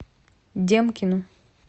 демкину